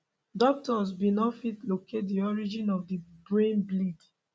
doctors bin no fit locate di origin of di brain bleed